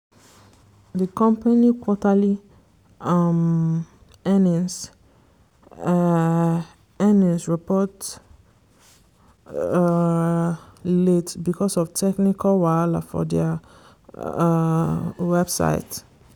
di company quarterly um earnings um earnings report um late because of technical wahala for dia um website.